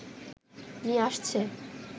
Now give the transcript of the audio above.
নিয়ে আসছে